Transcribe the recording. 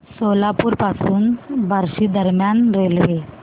सोलापूर पासून बार्शी दरम्यान रेल्वे